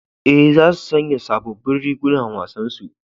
E, za su sanya sabobbin rigunan wasan su.